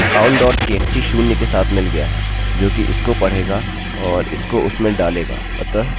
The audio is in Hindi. हाँ हमें counttxt शून्य के साथ मिल गया है जोकि इसको पढ़ेगा और इसको उसमें डालेगा